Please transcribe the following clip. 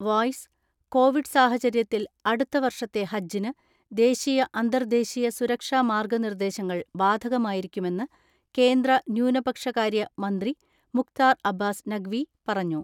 (Voice) Covid സാഹചര്യത്തിൽ അടുത്ത വർഷത്തെ ഹജ്ജിന് ദേശീയ അന്തർദേശീയ സുരക്ഷാ മാർഗ നിർദേശങ്ങൾ ബാധകമായിരിക്കുമെന്ന് കേന്ദ്ര ന്യൂനപക്ഷകാര്യ മന്ത്രി മുഖ്താർ അബ്ബാസ് നഖ് വി പറഞ്ഞു.